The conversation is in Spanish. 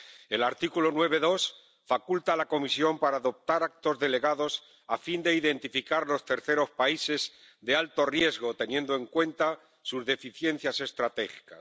El artículo 9, apartado 2, faculta a la Comisión para adoptar actos delegados a fin de identificar los terceros países de alto riesgo, teniendo en cuenta sus deficiencias estratégicas.